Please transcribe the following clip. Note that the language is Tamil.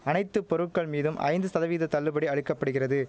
அனைத்து பொருட்கள் மீதும் ஐந்து சதவீத தள்ளுபடி அளிக்க படுகிறது